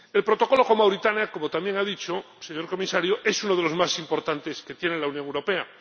El Protocolo con Mauritania —como también ha dicho, señor Comisario— es uno de los más importantes que tiene la Unión Europea.